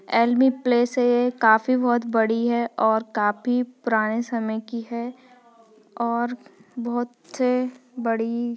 काफी बहुत बड़ी है और काफी पुराने समय की है और बहुत बड़ी --